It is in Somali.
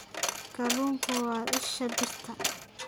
Kalluunku waa isha birta.